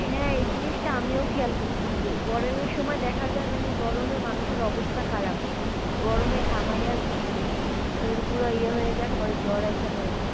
হ্যাঁ এই জিনিসটা আমিও খেয়াল করছি গরমে সময় দেখা যায় মানে গরমে মানুষের অবস্থা খারাপ গরমে ঘামাইয়া মানে শরীল পুরা ইয়ে হয়ে যায় পরে জ্বর আইসে পড়ে।